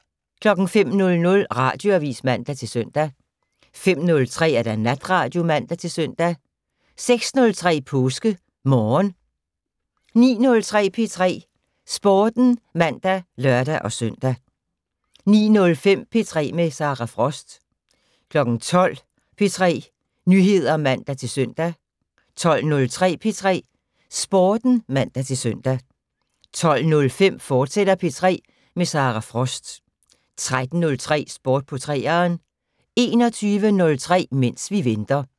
05:00: Radioavis (man-søn) 05:03: Natradio (man-søn) 06:03: PåskeMorgen 09:03: P3 Sporten (man og lør-søn) 09:05: P3 med Sara Frost 12:00: P3 Nyheder (man-søn) 12:03: P3 Sporten (man-søn) 12:05: P3 med Sara Frost, fortsat 13:03: Sport på 3'eren 21:03: Mens vi venter